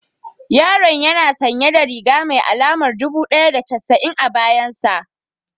Yaron yana sanye da riga mai alamar dubu ɗaya da casa'in a bayan sa